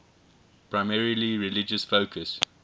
primarily religious focus